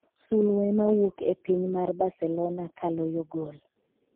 sulwe ma wuok e piny mar Barcelona ka loyo gol